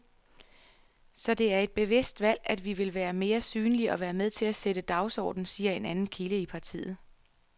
Så det er et bevidst valg, at vi vil være mere synlige og være med til at sætte dagsordenen, siger en anden kilde i partiet.